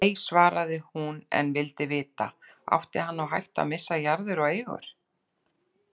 Nei, svaraði hún en vildi vita: Átti hann á hættu að missa jarðir og eigur?